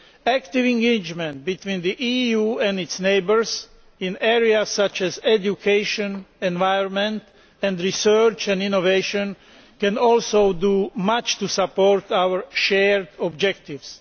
Active engagement between the EU and its neighbours in areas such as education, environment and research and innovation can also do much to support our shared objectives.